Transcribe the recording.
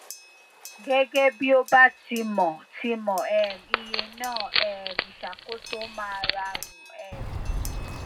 gege bi o ba ti mo ti mo um iye na um isakoso ma rarun um